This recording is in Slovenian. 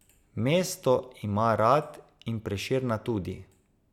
Mesto ima rad in Prešerna tudi.